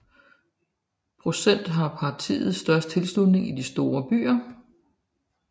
Procentuelt har partiet størst tilslutning i de store byer